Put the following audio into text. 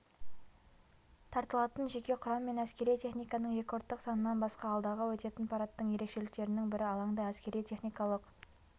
тартылатын жеке құрам мен әскери техниканың рекордтық санынан басқа алдағы өтетін парадтың ерекшеліктерінің бірі алаңда әскери-техникалық